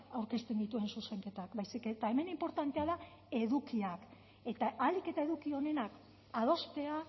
aurkezten dituen zuzenketak baizik eta hemen inportantea da edukiak eta ahalik eta eduki onenak adostea